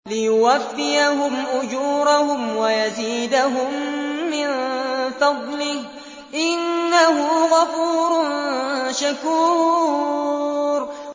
لِيُوَفِّيَهُمْ أُجُورَهُمْ وَيَزِيدَهُم مِّن فَضْلِهِ ۚ إِنَّهُ غَفُورٌ شَكُورٌ